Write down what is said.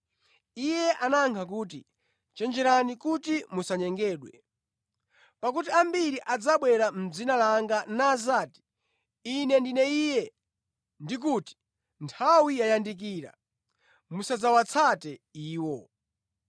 Iye anayankha kuti, “Chenjerani kuti musanyengedwe. Pakuti ambiri adzabwera mʼdzina langa nadzati ‘Ine ndine Iye’ ndi kuti ‘Nthawi yayandikira.’ Musadzawatsate iwo.